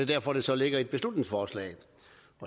derfor det så ligger i et beslutningsforslag